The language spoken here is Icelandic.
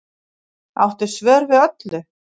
Áttu svör við öllu